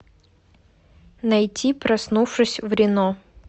найти проснувшись в рино